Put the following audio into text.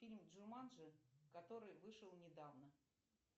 фильм джуманджи который вышел недавно